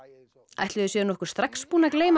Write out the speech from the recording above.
ætli þau séu nokkuð strax búin að gleyma